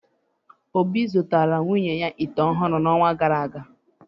Obi zụtara nwunye ya ite ọhụrụ n’ọnwa gara aga.